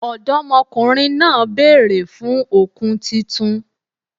Ọ̀dọ́mọkùnrin náà bèèrè fun òkun titun